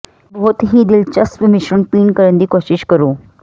ਇੱਕ ਬਹੁਤ ਹੀ ਦਿਲਚਸਪ ਮਿਸ਼ਰਣ ਪੀਣ ਕਰਨ ਦੀ ਕੋਸ਼ਿਸ਼ ਕਰੋ